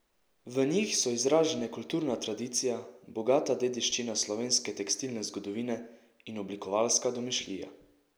V njih so izražene kulturna tradicija, bogata dediščina slovenske tekstilne zgodovine in oblikovalska domišljija.